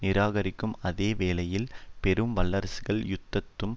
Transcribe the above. நிராகரிக்கும் அதே வேளையில் பெரும் வல்லரசுகள் யுத்தத்தும்